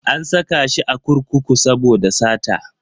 An saka shi a kurkuku saboda sata.